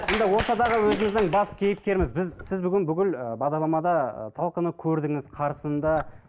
енді ортадағы өзіміздің бас кейіпкеріміз біз сіз бүгін бүкіл і бағдарламада і талқыны көрдіңіз қарсыны да